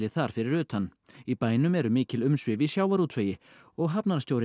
þar fyrir utan í bænum eru mikil umsvif í sjávarútvegi og